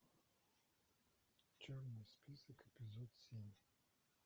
черный список эпизод семь